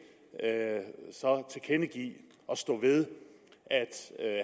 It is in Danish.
tilkendegive og stå ved at